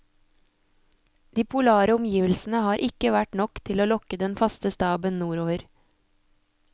De polare omgivelsene har ikke vært nok til å lokke den faste staben nordover.